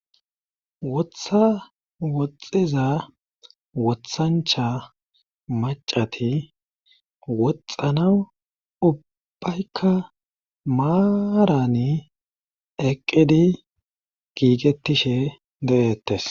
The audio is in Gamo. Wotha woxxiza wothancha macati woxxanawu ubbaykka maarani eqqidi giigettishe de7ettes.